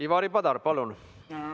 Ivari Padar, palun!